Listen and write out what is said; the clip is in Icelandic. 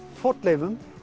fornleifar